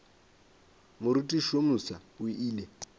morutiši yo mofsa o ile